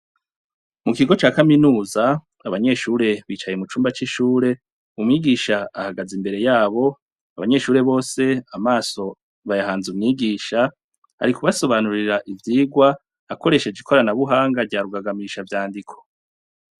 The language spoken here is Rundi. Mu kigo ca kaminuza, abanyeshure bicaye mu cumba c'ishure, umwigisha ahagaze imbere yabo, abanyeshure bose amaso bayahanze umwigisha, ari kubasobanurira ivyigwa akoresheje ikoranabuhanga rya rugagamishavyandiko.